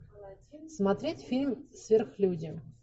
смотреть фильм сверхлюди